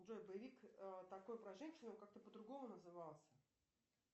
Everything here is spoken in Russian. джой боевик такой про женщину как то по другому назывался